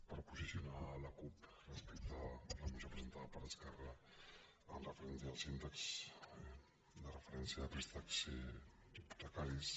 per posicionar la cup respecte a la moció presentada per esquerra amb referència als índexs de referència de préstecs hipotecaris